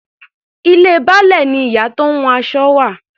Ilé Baálẹ̀ ni ìyá tó ń hun aṣọ wà.